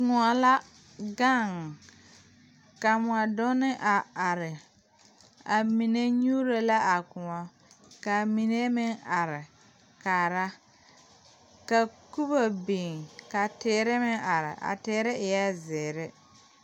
Kõɔ la gaŋ ka mɔdunne a are a mine nyuuro la a kõɔ kaa mine meŋ are kaara ka kubo biŋ ka teere meŋ are a teere eɛɛ zeere.